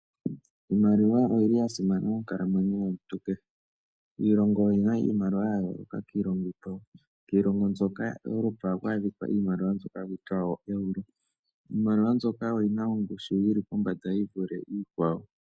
Iimaliwa oyi li ya simana moonkalamwenyo yomuntu kehe. Iilongo oyi na iimaliwa ya yooloka kiilongo iikwawo. Kiilongo mbyoka yaEuropa oha ku adhikwa iimaliwa mbyoka haku tiwa oo Euro. Iimaliwa mbyoka oyi na ongushu yi li pombanda, yi vule iikwawo.